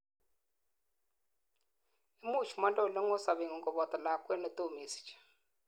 imuch monde oleng'oi sobengung koboto lakwet netom isich